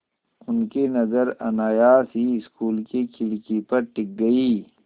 उनकी नज़र अनायास ही स्कूल की खिड़की पर टिक गई